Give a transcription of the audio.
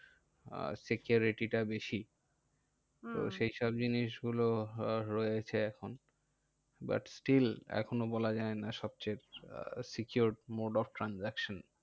আহ security টা বেশি। সেই সব জিনিস গুলো রয়েছে এখন but still এখনো বলা যায় না secure mode of transaction.